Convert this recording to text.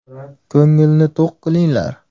Ko‘ngilni to‘q qilinglar.